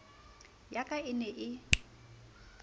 ya ka e ne e